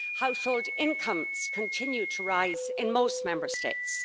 household incomes continue to rise in most Member States